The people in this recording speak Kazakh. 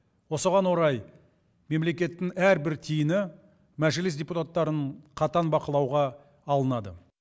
осыған орай мемлекеттің әрбір тиыны мәжіліс депутаттарын қатаң бақылауға алынады